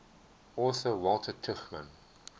author walter tuchman